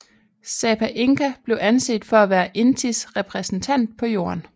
Sapa Inka blev anset for at være Intis repræsentant på Jorden